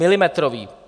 Milimetrový.